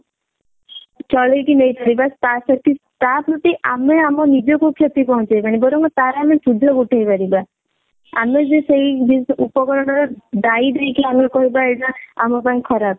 ଚଳେଇକି ନେଇପାରିବା ଆମେ ଆମ ନିଜକୁ କ୍ଷତି ପହଞ୍ଚେଇବାନି ବରଂ ତାର ଆମେ ସୁଧ ଉଠେଇ ପାରିବା ଆମେ ଯେ ସେଇ ଜି ଉପକରଣ ର ଦାୟୀ ଦେଇକି ଆମେ କହିବା ଏଇଟା ଆମ ପାଇଁ ଖରାପ